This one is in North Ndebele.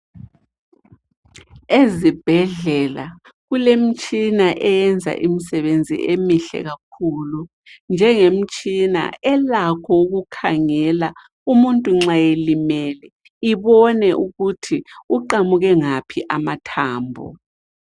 Ezibhedlela kulemtshina eyenza imisebenzi emihle kakhulu. Njengemtshina elakho ukukhangela umuntu nxa elimele ibone ukuthi uqamuke ngaphi amathambo.